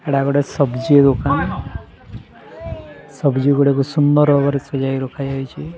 ଏଟା ଗୋଟେ ସବଜି ଦୁକାନ୍ ସବଜି ଗୁଡ଼ାକୁ ସୁନ୍ଦର୍ ଭାବରେ ସଜାଇ ରଖା ଯାଇଚି।